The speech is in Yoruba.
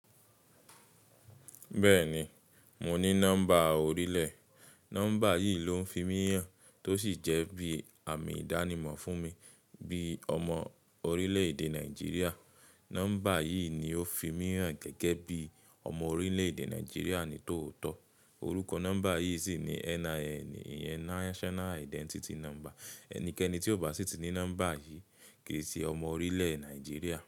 Bẹ́ẹ̀ni, mo ní nọ́mbà orílẹ̀. Nọ́mbà yìí ló ń fi mí hàn tó sì jẹ́ bí àmì ìdánimọ̀ fún mi bí ọmọ orílẹ̀ èdè Nàìjíríà. Nọ́mbà yìí ni ó fi mí hàn gẹ́gẹ́ bí ọmọ orílẹ̀ èdè Nàìjíríà ní tòótọ́. Orúkọ nọ́mbà yìí sì ni NIN, yẹn National Identity Number. Ẹnikẹ́ni tí ò bá sí ti ní nọ́mbà yìí kì í ṣe ọmọ orílẹ̀ Nàìjíríà.